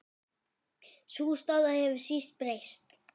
Sú staða hefur síst breyst.